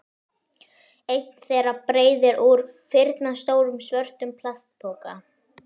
Einn þeirra breiðir úr firnastórum svörtum plastpoka.